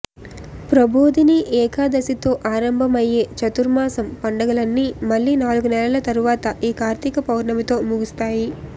ప్రభోదిని ఏకాదశితో ఆరంభం అయ్యే చతుర్మాసం పండగలన్నీ మళ్లీ నాలుగు నెలల తర్వాత ఈ కార్తిక పౌర్ణమితో ముగుస్తాయి